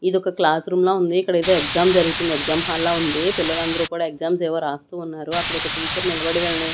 ఇదొక classroom లా ఉంది ఇక్కడేదో ఎగ్జామ్ జరుగుతుంది ఎగ్జామ్ హాల్ లా ఉంది పిల్లలందరూ కూడా ఎగ్జామ్స్ ఏవో రాస్తూ ఉన్నారు అక్కడొక టీచర్ నిలబడి వీళ్ళని--